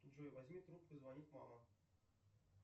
джой возьми трубку звонит мама